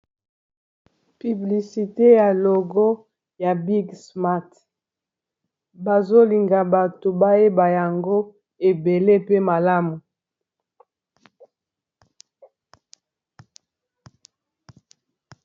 Publicité ya logo ya big smarth bazolinga bato bayeba yango ebele pe malamu